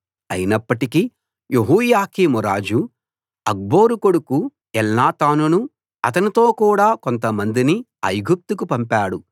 అయినప్పటికీ యెహోయాకీం రాజు అక్బోరు కొడుకు ఎల్నాతానునూ అతనితో కూడా కొంతమందిని ఐగుప్తుకు పంపాడు